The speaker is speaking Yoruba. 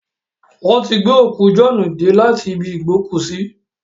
Wọ́n ti gbé òkú Jọ̀ọ́ọ́nù dé láti ibi ìgbókùúsí